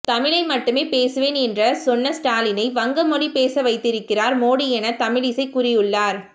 தமிழை மட்டுமே பேசுவேன் என்ற சொன்ன ஸ்டாலினை வங்க மொழி பேச வைத்திருக்கிறார் மோடி என தமிழிசை கூறியுள்ளார்